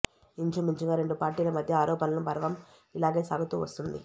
ఇంచుమించుగా రెండు పార్టీల మధ్య ఆరోపణల పర్వం ఇలాగే సాగుతూ వస్తోంది